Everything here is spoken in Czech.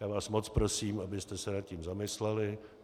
Já vás moc prosím, abyste se nad tím zamysleli.